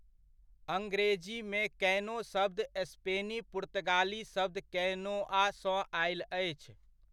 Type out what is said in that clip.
अंग्रेजीमे कैनो शब्द स्पेनी पुर्तगाली शब्द कैनोआ सँ आयल अछि।